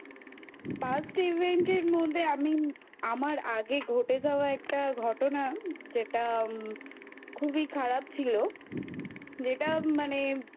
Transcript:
Past Event এর মধ্যে আমি আমার আগে ঘটে যাওয়া একটা ঘটনা যেটা উমম খুবই খারাপ ছিল যেটা মানে